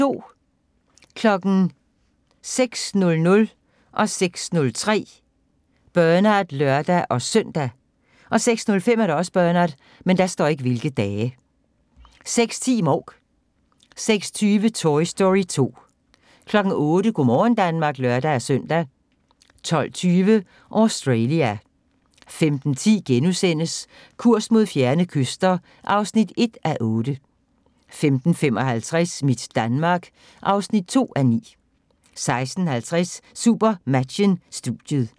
06:00: Bernard (lør-søn) 06:03: Bernard (lør-søn) 06:05: Bernard 06:10: Mouk 06:20: Toy Story 2 08:00: Go' morgen Danmark (lør-søn) 12:20: Australia 15:10: Kurs mod fjerne kyster (1:8)* 15:55: Mit Danmark (2:9) 16:50: SuperMatchen: Studiet